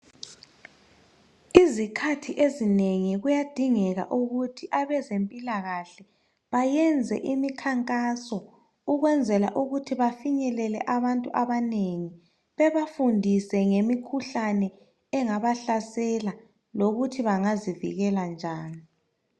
Izikhathi ezinengi kuyadingeka ukuthi abezempilakahle bayenze imikhankaso ukwenzele ukuthi bafinyelele abantu abanengi bebafundise ngemikhuhlane engabahlasela lokuthi bangazivikela njani.